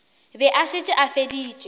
be a šetše a feditše